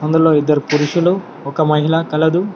అందులో ఇద్దరు పురుషులు ఒక మహిళ కలదు.